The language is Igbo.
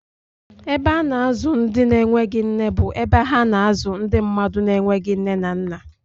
Ebe a na-azụ ndị na-enweghị nne bụ ebe ha na-azụ ndị mmadụ na-enweghị nne na nna.